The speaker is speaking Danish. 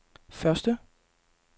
første